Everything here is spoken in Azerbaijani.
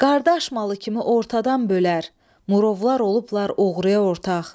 Qardaş malı kimi ortadan bölər, murovlar olublar oğruya ortaq.